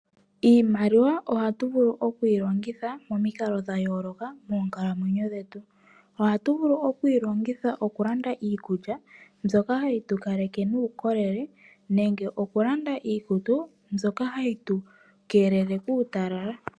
Iimaliwa oha tuvulu okwii longitha momikalo dhayoloka moonkalamwenyo dhetu. Ohatu vulu okwii longitha okulanda iikulya mbyoka hayi tukaleke nuukolele nenge okulanda iikutu mbyoka hayi tu keelele kuutalala.